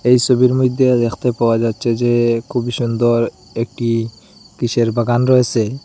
এই ছবির মধ্যে দেখতে পাওয়া যাচ্ছে যে খুবই সুন্দর একটি কিসের বাগান রয়েছে।